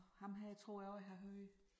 Ham her tror jeg også jeg har hørt